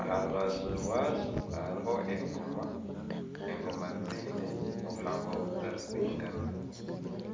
aha rubaju rwazo hariho engoma, engoma ziine obuhango butarikwingana